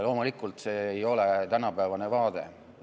Loomulikult ei ole see tänapäevane vaade.